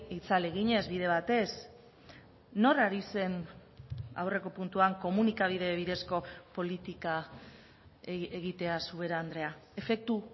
itzal eginez bide batez nor ari zen aurreko puntuan komunikabide bidezko politika egiteaz ubera andrea efektu